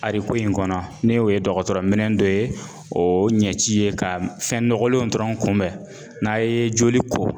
in kɔnɔ ne y'o ye dɔgɔtɔrɔminɛn dɔ ye o ɲɛci ye ka fɛn nɔgɔlenw dɔrɔn kunbɛn n'a ye joli ko